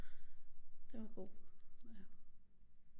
Den var god ja